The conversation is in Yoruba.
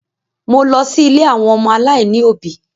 Mo lọ sí ilé àwọn ọmọ aláìní òbí.